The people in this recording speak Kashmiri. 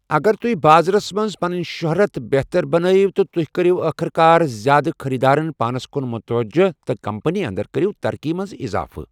اگر تُہۍ بازرَس منٛز پنٕنۍ شۄہرَت بہتر بنٲیِو تہِ تُہۍ کٔرِو ٲخٕرکار زیادٕ خٔریٖدارن پانَس کُن متوجہ تہٕ کمپنی انٛدر کٔرِو ترقی منٛز اِضافہٕ۔